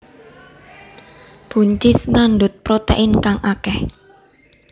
Buncis ngandhut protèin kang akèh